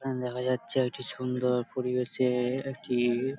এখানে দেখা যাচ্ছে একটি সুন্দর পরিবেশে একটি --